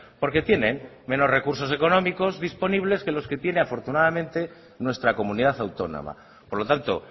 porque tienen menos recursos económicos disponibles que los que tiene afortunadamente nuestra comunidad autónoma por lo tanto